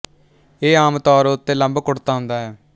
ਇਹ ਆਮ ਤੌਰ ਉੱਤੇ ਲੰਬ ਕੁਡ਼ਤਾ ਹੁੰਦਾ ਹੈ